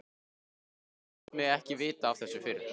Af hverju léstu mig ekki vita af þessu fyrr?